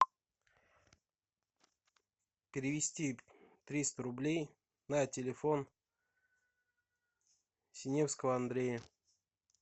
перевести триста рублей на телефон синевского андрея